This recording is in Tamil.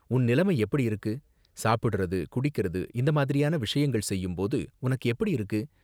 உன் நிலைமை எப்படி இருக்கு, சாப்பிடுறது குடிக்கறது இந்த மாதிரியான விஷயங்கள் செய்யும் போது உனக்கு எப்படி இருக்கு?